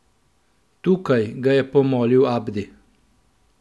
Tukaj, ga je pomolil Abdi.